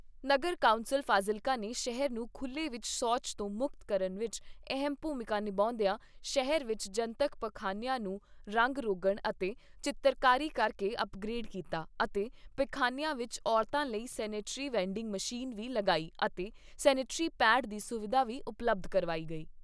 ਨਗਰ council Fazilka ਨੇ ਸ਼ਹਿਰ ਨੂੰ ਖੁੱਲ੍ਹੇ ਵਿੱਚ ਸ਼ੋਚ ਤੋ ਮੁਕਤ ਕਰਨ ਵਿੱਚ ਅਹਿਮ ਭੂਮਿਕਾ ਨਿਭਾਉਂਦੀਆਂ ਸ਼ਹਿਰ ਵਿੱਚ ਜਨਤਕ ਪਖਾਨਿਆਂ ਨੂੰ ਰੰਗ ਰੋਗਣ ਅਤੇ ਚਿੱਤਰਕਾਰੀ ਕਰਕੇ ਅਪਗ੍ਰੇਡ ਕੀਤਾ ਅਤੇ ਪਖਾਨਿਆਂ ਵਿੱਚ ਔਰਤਾਂ ਲਈ ਸੈਨੇਟਰੀ ਵੈਡਿੰਗ ਮਸ਼ੀਨ ਵੀ ਲਗਾਈ ਅਤੇ ਸੈਨੇਟਰੀ ਪੈਡ ਦੀ ਸੁਵਿਧਾ ਵੀ ਉਪਲਬੱਧ ਕਰਵਾਈ ਗਈ।